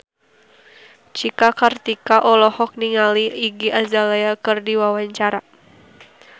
Cika Kartika olohok ningali Iggy Azalea keur diwawancara